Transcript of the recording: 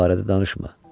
Bu barədə danışma.